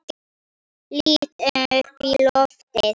Lít upp í loftið.